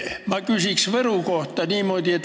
Ma küsin Võru kohta.